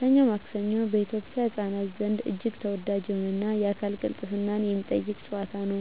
"ሰኞ ማክሰኞ" በኢትዮጵያ ህፃናት ዘንድ እጅግ ተወዳጅ የሆነና የአካል ቅልጥፍናን የሚጠይቅ ጨዋታ ነው።